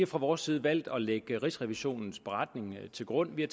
fra vores side valgt at lægge rigsrevisionens beretning til grund vi